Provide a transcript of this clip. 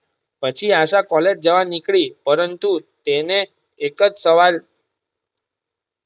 પછી આશા કૉલેજ જવા નીકળી પરંતુ તેને એક જ સવાલ.